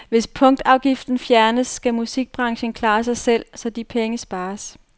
Hvis punktafgiften fjernes, skal musikbranchen klare sig selv, så de penge spares.